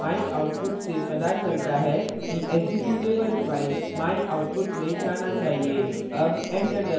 o myoutput से पता चलता है कि एक्जीक्यूटेबल file myoutput में जाना चाहिए